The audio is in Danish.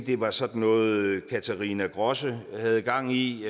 det var sådan noget katharina grosse havde gang i